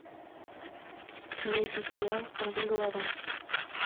найди сериал сорвиголова